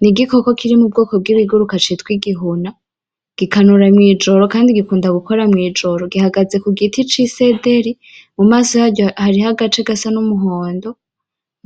Ni igikoko kiri mubwoko bw'ibiguruka citwa igihuna gikanura mw'ijoro kandi gikunda gukora mw'ijoro gihagaze kugiti c'isederi mumaso yaryo hariho agace gasa n'umuhondo